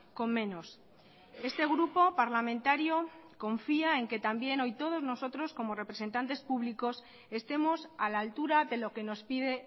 con menos este grupo parlamentario confía en que también hoy todos nosotros como representantes públicos estemos a la altura de lo que nos pide